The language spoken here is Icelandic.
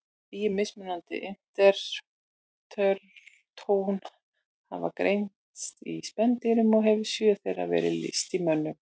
Tíu mismunandi interferón hafa greinst í spendýrum og hefur sjö þeirra verið lýst í mönnum.